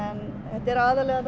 þetta er aðallega